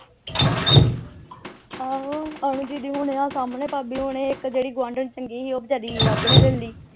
ਆਹੋ ਅਨੂ ਦੀਦੀ ਹੁਣੇ ਆਹ ਸਾਹਮਣੇ ਭਾਭੀ ਹੁਣੇ ਇਕ ਜਿਹੜੀ ਗੁਆਂਢਣ ਚੰਗੀ ਸੀ ਉਹ ਵਿਚਾਰੀ ਰੱਬ ਨੇ ਲੈ ਲਈ